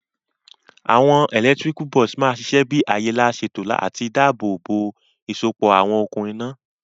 Àwon electrical box ma sisẹ bi àyè lá sèto àti dáàbò bò ìsopọ̀ àwon okùn iná